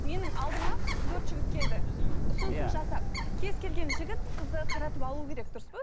менің алдыма төрт жігіт келді ұсынысын жасап кез келген жігіт қызды қаратып алу керек дұрыс па